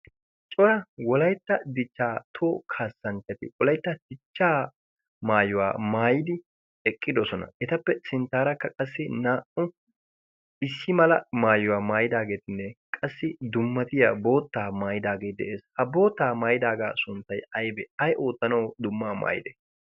cora wolaytta dichchaa too kaassanchchati wolaitta dichchaa maayuwaa maayidi eqqidosona etappe sinttaarakka qassi naa"u bissi mala maayuwaa maayidaageetinne qassi dummatiya boottaa maayidaagee de'ees. ha boottaa maayidaagaa sunttai aibee ay oottanawu dummaa maayide?